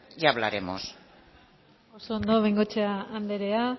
ya hablaremos oso ondo bengoechea andrea